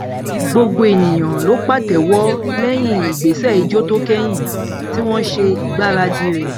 gbogbo ènìyàn ló patewo lẹyìn ìgbésẹ ìjó tó kẹyìn tí wọn ṣe ìgbáradì rẹ